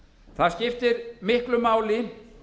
það skiptir miklu máli